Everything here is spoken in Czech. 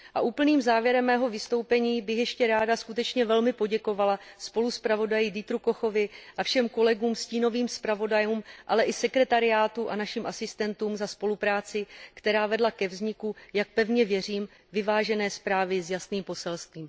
Úplným závěrem mého vystoupení bych ještě ráda skutečně velmi poděkovala spoluzpravodaji Dieterovi Kochovi a všem kolegům stínovým zpravodajům, ale i sekretariátu a našim asistentům za spolupráci, která vedla ke vzniku, jak pevně věřím, vyvážené zprávy s jasným poselstvím.